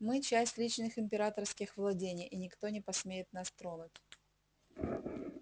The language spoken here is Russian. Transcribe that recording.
мы часть личных императорских владений и никто не посмеет нас тронуть